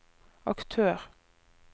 aktør